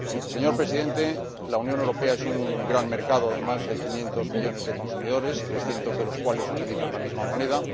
Señor Presidente, la Unión Europea es un gran mercado de más de 500 millones de consumidores, 300 millones de los cuales utilizan la misma moneda.